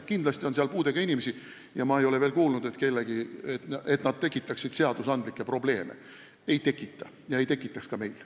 Kindlasti on seal puudega inimesi, aga ma ei ole veel kuulnud, et nad tekitaksid selliseid probleeme – ei tekita ega tekitaks ka meil.